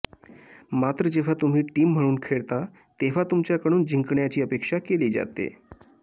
मात्र जेव्हा तुम्ही टीम म्हणून खेळता तेव्हा तुमच्याकडून जिंकण्याची अपेक्षा केली जाते